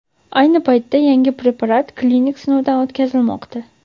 Ayni paytda yangi preparat klinik sinovdan o‘tkazilmoqda.